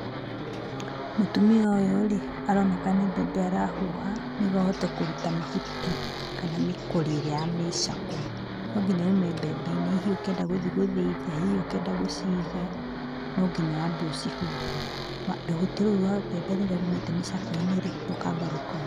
Mũtumia ũyũ rĩ, aroneka nĩ mbembe arahuha nĩguo ahote kũruta mahuti kana mĩkori ĩrĩa ya mĩcakwe. No nginya yume mbembe-inĩ, hihi ũkĩenda gũthi gũthĩithia, hihi ũkĩenda gũciiga no nginya wambe ũcihuhe. Rũhuti rũu rwa mbembe rũrĩa ruumĩte mĩcakwe-inĩ rĩ, rũkamba rũkauma.